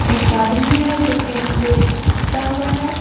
एक आदमी है जो कि ले टा हुआ है।